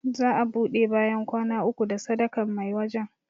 Za a ɓude bayan kwana uku da sadakan mai wajan